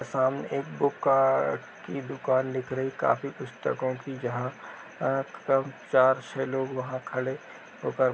सामने एक बुक काअअअ की दुकान दिख रही है। काफी पुस्तकों की जहाँ कम चार छः लोग वहां खड़े होकर --